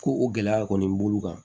Ko o gɛlɛya kɔni b'olu kan